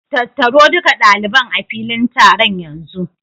Tattaro duka ɗaliban a filin taron yanzu!